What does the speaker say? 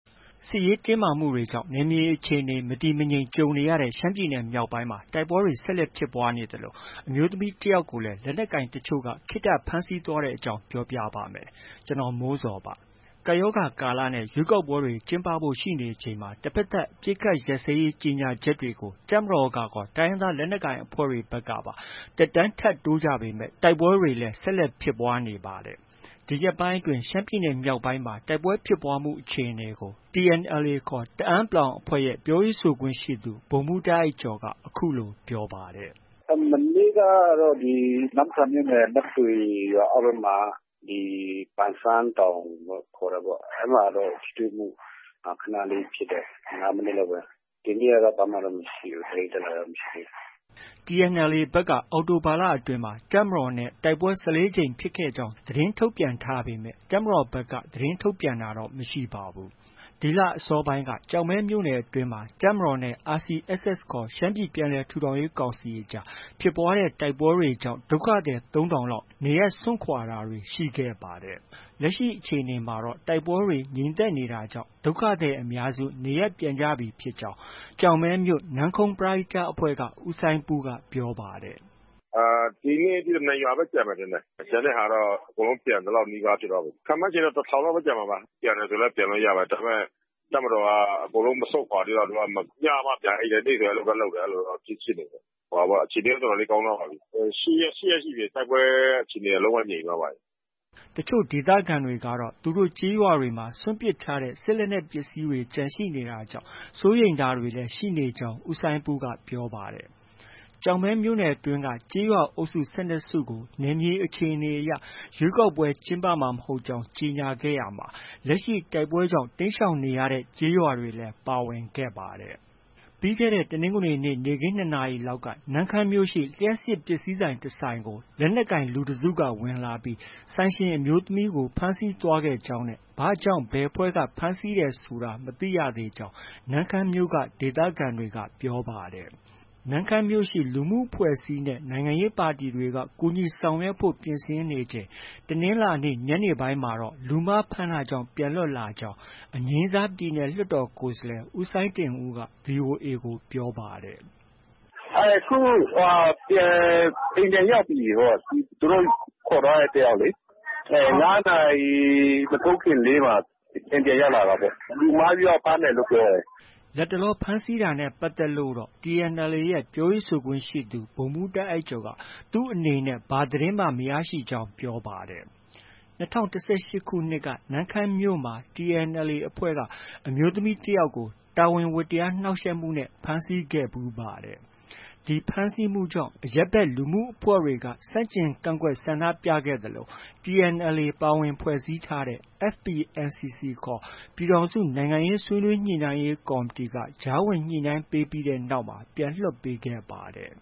စစ်ရေးတင်းမာမှုတွေကြောင့် နယ်မြေအခြေအနေ မတည်မငြိမ်ကြုံနေရတဲ့ ရှမ်းပြည်နယ်မြောက်ပိုင်းမှာ တိုက်ပွဲတွေ ဆက်လက် ဖြစ်ပွားနေသလို၊ အရပ်သားတွေကိုလည်း လက်နက်ကိုင်အဖွဲ့တွေက ဖမ်းဆီးခေါ်ဆောင်မှုတွေရှိနေပါတယ်။ ဗွီအိုအေ သတင်းထောက် ကိုမိုးဇော်က ရှမ်းပြည်နယ်တိုက်ပွဲ နောက်ဆုံးအခြေအနေကို သတင်းပေးပို့ထားပါတယ်။ ကပ်ရောဂါကာလနဲ့ ရွေးကောက်ပွဲတွေ ကျင်းပဖို့ ရှိနေချိန်မှာ တဖက်သတ်အပစ်အခတ် ရပ်စဲရေးကြေညာချက်တွေကို တပ်မတော်ရော တိုင်းရင်းသား လက်နက်ကိုင် အဖွဲ့တွေ ဘက်ကပါ သက်တမ်းထပ်တိုးထားကြပေမဲ့ တိုက်ပွဲတွေလည်း ဆက်လက်ဖြစ်ပွားနေပါတယ်။ ဒီရက်ပိုင်းအတွင်း ရှမ်းပြည်မြောက်ပိုင်းမှာ တိုက်ပွဲဖြစ်ပွားမှုအခြေအနေကိုတော့ TNLA တအန်း အဖွဲ့ရဲ့ ပြောရေးဆိုခွင့်ရှိသူ ဗိုလ်မှူး တာ့အိုက်ကျော်က အခုလို ပြောပါတယ်။ “ မနေ့ကတော့ နမ့်ဆန်မြို့နယ်၊ နမ့်တွေရွာအောက်ဘက်မှာ ဒီ ပန်ဆန်းတောင်လို့ ခေါ်တာပေါ့။ အဲဒီမှာတော့ ထိတွေ့မှု ခဏလေးဖြစ်တယ်။ ၅မိနစ်လောက်ပဲ။ ဒီနေ့ကတော့ ဘာမှတော့ မရှိဘူး။ သတင်းတက်လာတာတော့ မရှိဘူး။ ” TNLA ဘက် အောက်တိုဘာလအတွင်းမှာ တပ်မတော်နဲ့ တိုက်ပွဲ ၁၄ကြိမ်ဖြစ်ခဲ့ကြောင်း သတင်းထုတ်ပြန်ထားပေမယ့် တပ်မတော်ဘက်က သတင်းထုတ်ပြန်တာ မရှိပါဘူး။ ဒီလ အစောပိုင်းက ကျောက်မဲမြို့ှုနယ်အတွင်းမှာ တပ်မတော်နဲ့ RCSS ခေါ် ရှမ်းပြည်ပြန်လည် ထူထောင်ရေးကောင်စီအကြား ဖြစ်ပွားတဲ့ တိုက်ပွဲတွေကြောင့် ဒုက္ခသည် ၃၀၀၀ လောက် နေရပ်စွန့်ခွာတာတွေ ရှိခဲ့ပါတယ်။ လက်ရှိအခြေအနေမှာတော့ တိုက်ပွဲတွေ ငြိမ်သက်နေတာကြောင့် ဒုက္ခသည်အများစု နေရပ်ပြန်ကြပြီ ဖြစ်ကြောင်း ကျောက်မဲမြို့ နမ့်ခုမ်းပရဟိတအဖွဲ့က ဦးစိုင်းပူးက ပြောပါတယ်။ “ ဒီနေ့ထိ ၂ရွာပဲ ကျန်မယ်ထင်တယ်။ ကျန်တဲ့ဟာတော့ ကုန်သလောက် နီးနီးရှိသွားပြီ။ ခန့်မှန်းခြေတော့ ၁၀၀၀ လောက်ပဲ ကျန်မှာပါ။ ပြန်မယ်ဆိုလည်း ပြန်လို့ရပါတယ်။ ဒါပေမဲ့ တပ်မတော်က အကုန်လုံး မဆုတ်ခွာ သေးတော့ သူက ညမှ ပြန်အိပ်တယ်။ နေ့လည်တော့ အလုပ်သွားလုပ်တယ် အဲလိုတော့ ရှိနေတယ်။ အခြေအနေကတော့ တော်တော်လေး ကောင်းသွားပါပြီ။ ၈ရက် ရှိနေပြီ တိုက်ပွဲအခြေအနေက လုံးဝငြိမ်သွားတာ။” တချို့ဒေသခံတွေကတော့ သူတို့ ကျေးရွာတွေမှာ စွန့်ပစ်ထားတဲ့ စစ်လက်နက်ပစ္စည်းတွေ ကျန်ရှိနေတာကြောင့် စိုးရိမ်တာတွေလည်း ရှိနေကြောင်း ဦးစိုင်းပူးက ပြောပါတယ်။ ကျောက်မဲမြို့နယ်အတွင်းက ကျေးရွာ အုပ်စု ၁၂စုကို နယ်မြေအခြေအနေအရ ရွေးကောက်ပွဲကျင်းပမှာ မဟုတ်ကြောင်း ကြေညာခဲ့ရာမှာ လက်ရှိ တိုက်ပွဲကြောင့် တိမ်းရှောင်ခဲ့တဲ့ ကျေးရွာတွေလည်း ပါဝင်ခဲ့ပါတယ်။ ပြီးခဲ့တဲ့ တနင်္ဂနွေနေ့ နေ့ခင်း ၂နာရရီလောက် နမ့်ခမ်းမြို့က လျှပ်စစ်ပစ္စည်းဆိုင်တဆိုင်ကို လက်နက်ကိုင် လူတစ်စုက ဝင်လာပြီး ဆိုင်ရှင်အမျိုးသမီးကို ဖမ်းဆီးသွားခဲ့ကြောင်းနဲ့ ဘာကြောင့် ဘယ်အဖွဲ့က ဖမ်းဆီးတယ်ဆိုတာ မသိရသေးကြောင်း နမ့်ခမ်းမြို့က ဒေသခံတွေက ပြောပါတယ်။ နမ့်ခမ်းမြို့ရှိ လူမှုအဖွဲ့အစည်းနဲ့ နိုင်ငံရေးပါတီတွေက ကူညီနိုင်ဖို့ ပြင်ဆင်ဆောင်ရွက် နေချိန် တနင်္လာနေ့ ညနေပိုင်းမှာတော့ လူမှားဖမ်းတာကြောင့် ပြန်လွှတ်လာကြောင်း အငြိမ်းစား ပြည်နယ် လွှတ်တော်ကိုယ်စားလှယ် ဦးစိုင်းတင်ဦးက VOA ကို ပြောပါတယ်။ “ အခုအိမ်ပြန်ရောက်ပြီပေါ့။ သူတို့ ခေါ်သွားတဲ့ တစ်ယောက်လေ။ ၅နာရီ မထိုးခင်လေးမှာ အိမ်ပြန်ရောက်လာတာပေါ့။ လူမှားပြီးမှ ဖမ်းတယ်လို့ ပြောတယ်။ ” လတ်တလော ဖမ်းဆီးတာနဲ့ပတ်သက်လို့တော့ TNLA ရဲ့ ပြောရေးဆိုခွင့်ရှိသူ ဗိုလ်မှူး တာ့အိုက်ကျော်က သူအနေနဲ့ ဘာသတင်းမှ မရကြောင်း ပြောပါတယ်။ ၂၀၁၈ခုနှစ်က နမ့်ခမ်းမြို့မှာ TNLA တအန်း အဖွဲ့က အမျိုးသမီးတစ်ယောက် တာဝန်ဝတ္တရားကို နှောက်ယှက်မှုနဲ့ ဖမ်းဆီးခဲ့ဖူးပါတယ်။ ဒီဖမ်းဆီးမှုကြောင့် အရပ်ဘက်လူမှုအဖွဲ့တွေက ဆန့်ကျင်ကန့်ကွက် ဆန္ဒပြ ခဲ့သလို TNLA ပါဝင်ဖွဲ့စည်းထားတဲ့ FPNCC ခေါ် ပြည်ထောင်စု နိုင်ငံရေးဆွေးနွေးညှိနှိုင်းရေးကော်မတီ က ကြားဝင်ညှိနှိုင်းပေးတဲ့နောက်မှာ ပြန်လွှတ်ပေးခဲ့ပါတယ်